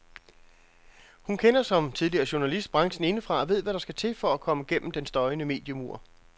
Hun kender, som tidligere journalist, branchen indefra og ved hvad der skal til for at komme gennem den støjende mediemur.